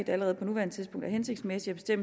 allerede på nuværende tidspunkt er hensigtsmæssigt at